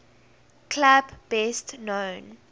club best known